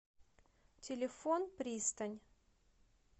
телефон пристань